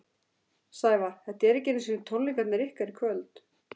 Sævar, þetta eru ekki einu tónleikarnir ykkar í kvöld?